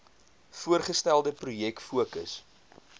voorgestelde projek fokus